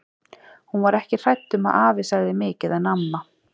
Hún var ekki hrædd um að afi segði mikið en amma.